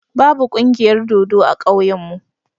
Ba bu ƙungiyar dodo a ƙauyen mu.